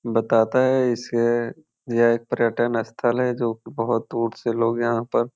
बताता है इसे यह एक पर्यटन स्थल हैं जो की बहुत दूर से लोग यहाँ पर --